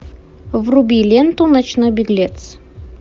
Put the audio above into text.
вруби ленту ночной беглец